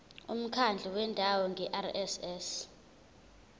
umkhandlu wendawo ngerss